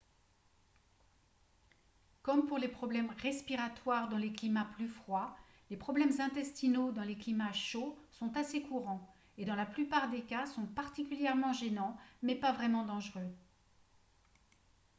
comme pour les problèmes respiratoires dans les climats plus froids les problèmes intestinaux dans les climats chauds sont assez courants et dans la plupart des cas sont particulièrement gênants mais pas vraiment dangereux